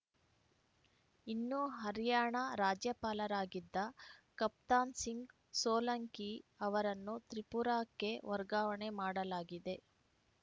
ಇನ್ನು ಹರ್ಯಾಣ ರಾಜ್ಯಪಾಲರಾಗಿದ್ದ ಕಪ್ತಾನ್‌ ಸಿಂಗ್‌ ಸೋಲಂಕಿ ಅವರನ್ನು ತ್ರಿಪುರಾಕ್ಕೆ ವರ್ಗಾವಣೆ ಮಾಡಲಾಗಿದೆ